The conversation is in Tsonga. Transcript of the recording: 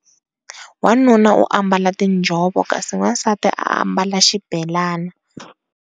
Wanuna u ambala tiinjhovo kasi wasati u ambala xibelani.